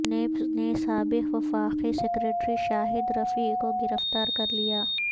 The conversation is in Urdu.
نیب نے سابق وفاقی سیکریٹری شاہد رفیع کو گرفتار کرلیا